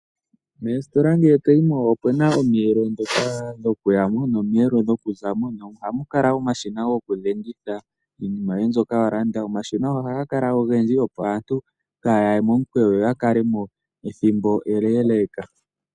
Moositola ngele to yi mo opu na omiyelo ndhoka dhokuya mo, nomiyelo dhokuza mo nohamu kala omashina gokudhengitha iinima yoe mbyoka wa landa. Omashina oha ga kala ogendji opo aantu kaaya ye momukweyo yo yakale mo ethimbo eleeleeka.